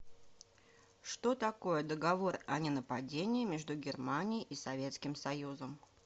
что такое договор о ненападении между германией и советским союзом